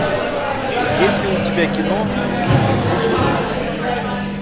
есть ли у тебя кино месть пушистых